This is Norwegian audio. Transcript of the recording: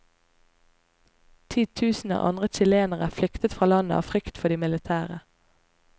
Titusener andre chilenere flyktet fra landet av frykt for de militære.